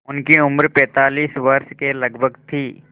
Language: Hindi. उनकी उम्र पैंतालीस वर्ष के लगभग थी